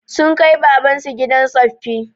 Sun kai baban su gidan tsoffi